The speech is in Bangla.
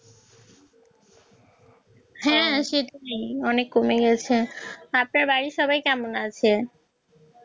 হ্যাঁ সেটা ঠিক অনেক কমে গেছে কেমন আছে